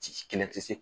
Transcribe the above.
Ci kelen tɛ se